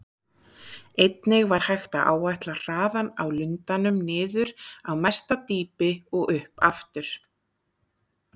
Einnig var hægt að áætla hraðann á lundanum niður á mesta dýpi og upp aftur.